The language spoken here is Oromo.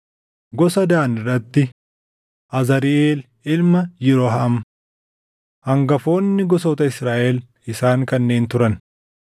gosa Daan irratti: Azariʼeel ilma Yirooham. Hangafoonni gosoota Israaʼel isaan kanneen turan.